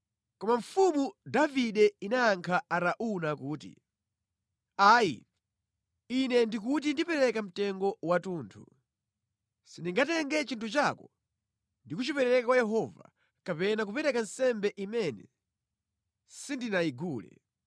Koma mfumu Davide inayankha Arauna kuti, “Ayi, ine ndikuti ndipereka mtengo wathunthu. Sindingatenge chinthu chako ndi kuchipereka kwa Yehova, kapena kupereka nsembe imene sindinayigule.”